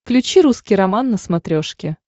включи русский роман на смотрешке